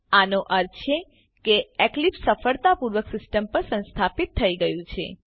આનો અર્થ છે કે એક્લીપ્સ સફળતાપૂર્વક સીસ્ટમ પર સંસ્થાપીત થઇ ગયું છે